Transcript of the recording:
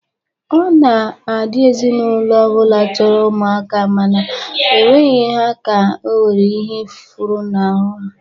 Ọ na-adị ezinaụlọ ọ bụla chọrọ ụmụaka mana ha enweghi ha ka o nwere ihe funahụrụ ha.